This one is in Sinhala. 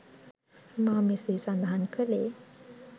මා මෙසේ සඳහන් කළේ